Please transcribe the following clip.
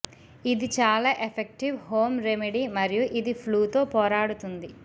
ఇది చాలా effective home remedy మరియు ఇది ఫ్లూతో పోరాడుతుంది